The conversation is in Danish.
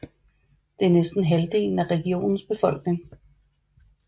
Det er næsten halvdelen af regionens befolkning